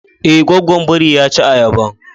Ae, gwaggwan biri ya ci ayaban.